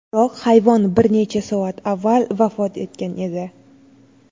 Biroq hayvon bir necha soat avval vafot etgan edi.